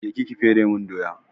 Je ki ki fere mun doya!